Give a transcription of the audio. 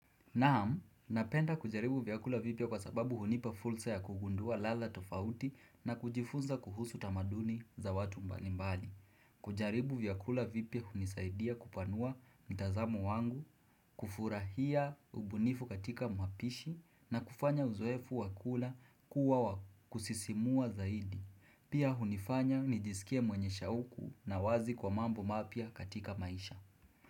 Naam, napenda kujaribu vyakula vipya kwa sababu hunipa fursa ya kugundua ladha tofauti na kujifunza kuhusu tamaduni za watu mbalimbali. Kujaribu vyakula vipya hunisaidia kupanua mtazamo wangu, kufurahia ubunifu katika mapishi na kufanya uzoefu wa kula kuwa wa kusisimua zaidi. Pia hunifanya nijisikie mwenye shauku na wazi kwa mambo mapya katika maisha.